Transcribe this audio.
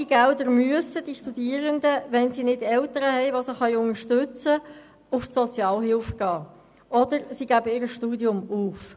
Haben die Studierenden nicht Eltern, die sie unterstützen können, müssen sie ohne diese Massnahme zur Sozialhilfe gehen oder ihr Studium aufgeben.